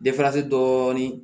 dɔɔnin